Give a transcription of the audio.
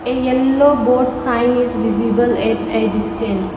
yellow board sign is visible at a distant.